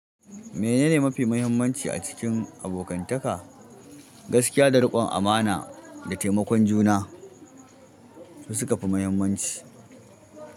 Menene mafi mahimmanci a cikin abokantaka? Gaskiya da riƙon amana da taimakon juna su suka fi mahimmanci.